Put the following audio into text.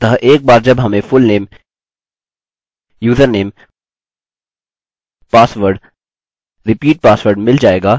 अतः एक बार जब हमें fullname username password repeat password मिल जाएगा तो हम केवल यहाँ दिए हुए नामों की नकल करेंगे ठीक है